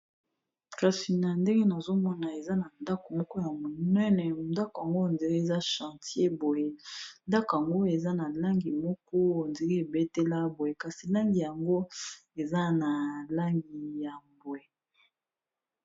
Kasi na ndenge nazomona eza na ndako moko ya monene mondako yango ndela eza chantier boye ndako yango eza na langi moko ondela ebetela boye kasi langi yango eza na langi ya bwe